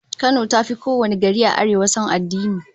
Kano zata fi kowane gari a Arewa son addini